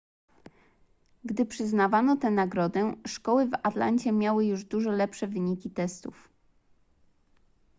gdy przyznawano tę nagrodę szkoły w atlancie miały już dużo lepsze wyniki testów